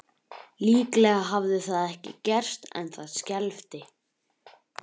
Líklega hafði það ekki gerst en það skelfdi